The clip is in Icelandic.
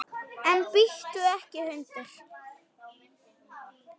En bíttu ekki, hundur!